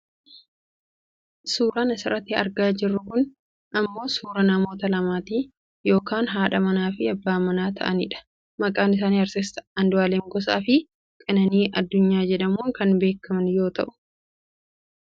Suuraan ani asirratti argaa jiru kun ammoo suuraa namoota lamaati. Namoota maatii yookaan haadha manaaf abbaa manaa ta'anidha. Maqaan isaanii Artisti Anduaalem Gosaafi Qananii addunnaa jedhammuun kan beekkaman yoo ta'u,